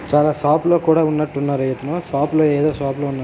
చాలా షాప్ లో కూడా ఉన్నటు ఉన్నారు ఇతను షాప్ లో ఎధో షాప్ లో ఉన్నారు.